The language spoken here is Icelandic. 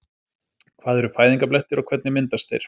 Hvað eru fæðingarblettir og hvernig myndast þeir?